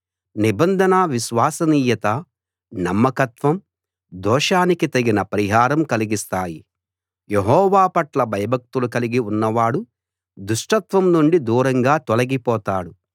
నిబంధన విశ్వసనీయత నమ్మకత్వం దోషానికి తగిన పరిహారం కలిగిస్తాయి యెహోవా పట్ల భయభక్తులు కలిగి ఉన్నవాడు దుష్టత్వం నుండి దూరంగా తొలగిపోతాడు